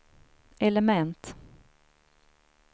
element